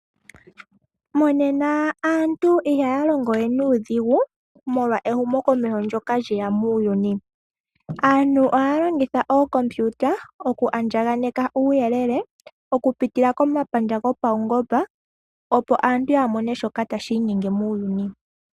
Monena aantu ihaya longowe nuudhigu, molwa ehumo komeho ndoka lyeya muuyuni, aantu ohaya longitha ookompiuta oku andjaganeka uuyelele, okupitila komapandja gopaungoba opo aantu yamone shoka tashi nyenge muuyuni.